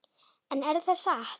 En er það satt?